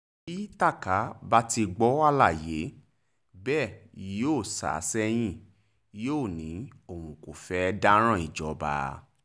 bí tákà bá ti gbọ́ àlàyé bẹ́ẹ̀ yóò sá sẹ́yìn yóò ní òun kò fẹ́ẹ́ dáràn ìjọba